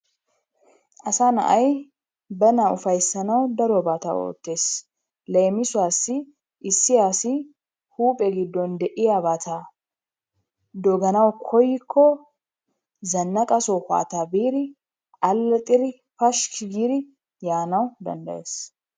Asaa naay bana ufayssanawu darobaata oottees. Leemisuwaasi issi asi huphphe gidon deeiyabata doganawu koyikko zanaqqa sohota biidi alaxxidi pashshikki giidi yaanawu dandayees.